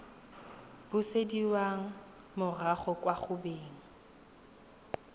busediwa morago kwa go beng